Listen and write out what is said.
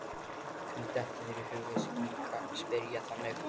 Hvernig dettur þér í hug að spyrja þannig?